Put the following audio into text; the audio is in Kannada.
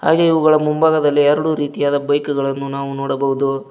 ಹಾಗೆ ಇವುಗಳ ಮುಂಭಾಗದಲ್ಲಿ ಎರಡು ರೀತಿಯದ ಬೈಕ್ ಗಳನ್ನು ನಾವು ನೋಡಬಹುದು.